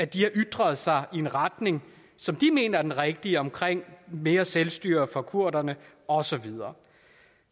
de har ytret sig i en retning som de mener er den rigtige omkring mere selvstyre for kurderne og så videre